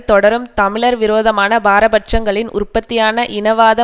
தொடரும் தமிழர் விரோதமான பாரபட்சங்களின் உற்பத்தியான இனவாத